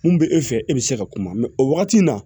Mun bɛ e fɛ e bɛ se ka kuma o wagati in na